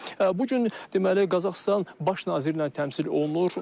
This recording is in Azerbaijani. Bu gün deməli Qazaxıstan baş naziri ilə təmsil olunur.